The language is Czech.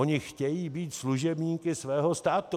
Oni chtějí být služebníky svého státu.